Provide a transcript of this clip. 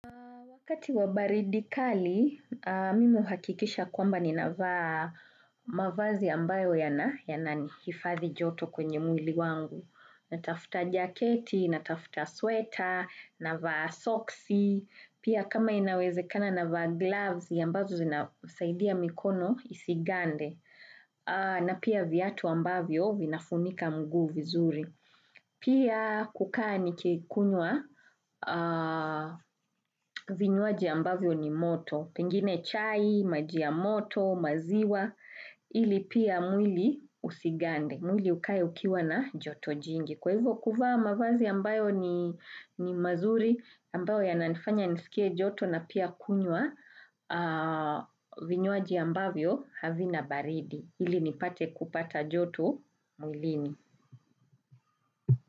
Wakati wa baridi kali, mimi uhakikisha kwamba ni navaa mavazi ambayo yana, hifadhi joto kwenye mwili wangu. Natafuta jaketi, natafuta sweta, navaa soksi, pia kama inawezekana navaa gloves ya ambazo zinasaidia mikono isigande. Na pia viatu ambavyo vinafunika mguu vizuri. Pia kukaa nikikunywa vinywaji ambavyo ni moto Pengine chai, maji ya moto, maziwa Ili pia mwili husigande mwili ukae ukiwa na joto jingi Kwa hivyo kuvaa mavazi ambayo ni mazuri ambayo ya nanifanya nisikie joto na pia kunywa vinywaji ambavyo havina baridi Ili nipate kupata joto mwilini.